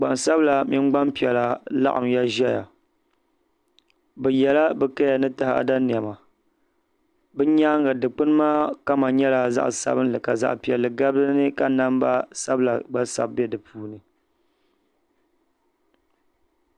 Gbansabla mini gbampiɛla laɣimya zaya ni yela bɛ kaya ni taɣada niɛma bɛ nyaanga dikpini maa kama nyɛla zaɣa sabinli ka zaɣa piɛlli gabi dinni ka namba sabila gba sabi be dipuuni.